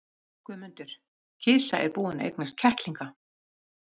GUÐMUNDUR: Kisa er búin að eignast kettlinga.